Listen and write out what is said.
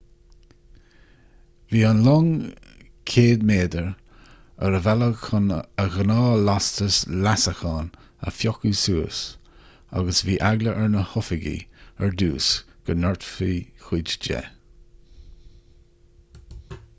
bhí an long 100 méadar ar a bhealach chun a ghnáthlastas leasacháin a phiocadh suas agus bhí eagla ar na hoifigigh ar dtús go ndoirtfí cuid de